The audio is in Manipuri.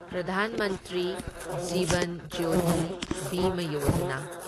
ꯄ꯭ꯔꯙꯥꯟ ꯃꯟꯇ꯭ꯔꯤ ꯖꯤꯚꯟ ꯖ꯭ꯌꯣꯇꯤ ꯕꯤꯃ ꯌꯣꯖꯥꯅꯥ